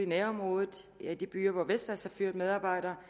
nærområdet i de byer hvor vestas har fyret medarbejdere